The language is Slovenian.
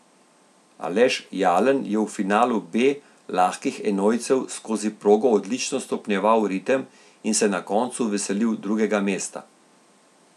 Aleš Jalen je v finalu B lahkih enojcev skozi progo odlično stopnjeval ritem in se na koncu veselil drugega mesta.